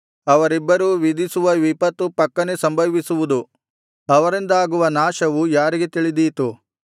ಅವರಿಬ್ಬರು ವಿಧಿಸುವ ವಿಪತ್ತು ಫಕ್ಕನೆ ಸಂಭವಿಸುವುದು ಅವರಿಂದಾಗುವ ನಾಶವು ಯಾರಿಗೆ ತಿಳಿದೀತು